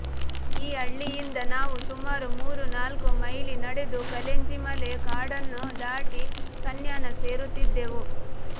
ಈ ಹಳ್ಳಿಯಿಂದ ನಾವು ಸುಮಾರು ಮೂರು ನಾಲ್ಕು ಮೈಲಿ ನಡೆದು ಕಲೆಂಜಿಮಲೆ ಕಾಡನ್ನು ದಾಟಿ ಕನ್ಯಾನ ಸೇರುತ್ತಿದ್ದೆವು